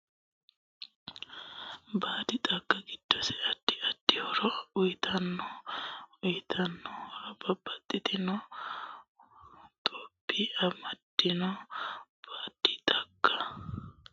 Baadi xagga giddose addi addi horo uuiitanno uyiitanno horo babbaxinno xobbi amadiro baaddi xagga horoonsiniro amade noo xibbini hurate lowo kaa'lo afidhino